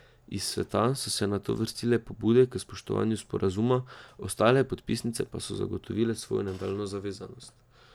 Iz sveta so se nato vrstile pobude k spoštovanju sporazuma, ostale podpisnice pa so zagotovile svojo nadaljnjo zavezanost.